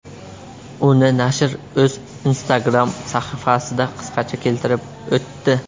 Uni nashr o‘z Instagram sahifasida qisqacha keltirib o‘tdi.